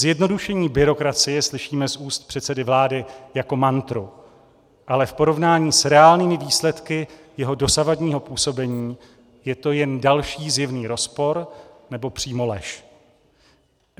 Zjednodušení byrokracie slyšíme z úst předsedy vlády jako mantru, ale v porovnání s reálnými výsledky jeho dosavadního působení je to jen další zjevný rozpor nebo přímo lež.